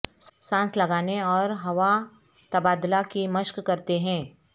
سانس لگانے اور ہوا تبادلہ کی مشق کرتے ہیں